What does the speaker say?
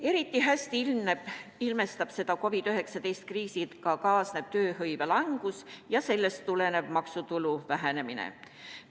Eriti hästi ilmestab seda COVID-19 kriisiga kaasnev tööhõive langus ja sellest tulenev maksutulu vähenemine.